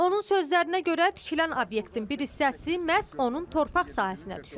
Onun sözlərinə görə tikilən obyektin bir hissəsi məhz onun torpaq sahəsinə düşür.